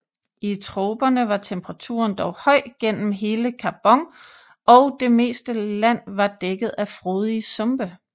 I troperne var temperaturen dog høj gennem hele Karbon og det meste land var dækket af frodige sumpe